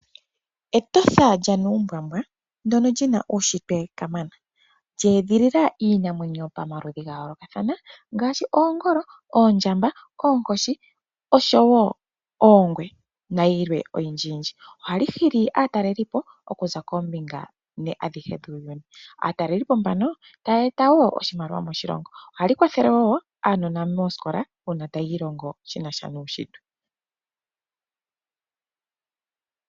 Etosha lyanuumbwambwa, ndono lyina uushintwe kamana, lya edhilila iinamwenyo pamaludhi ga yoolokathana ngashi oongolo, oondjamba, oonkoshi oshowo oongwe nayilwe oyindjiyindji. Ohali hili aatalelipo okuza koombinga ne adhihe dhuuyuni. Aatalelipo mbano taya eta wo oshimaliwa moshilongo, ohali kwathele wo aanona moosikola mbono taya ilongo shinasha nuushintwe.